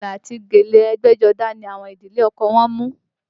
Fìlà àti gèlè ẹgbẹ́jọdá ni àwọn ìdílé ọkọ wọ́n mú